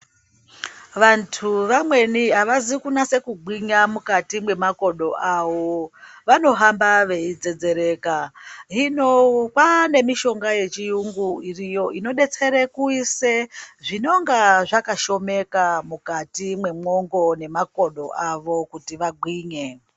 Vantu vamweni avazi kunyase kugwinya mukati mwemakomo awo vanohamba veidzedzereka hino kwaane mishonga yechiyungu iriyo inodetsere kuisei zvinonga zvakashomeka mukati memwongo nemakodo avo kuti vagwinyisire.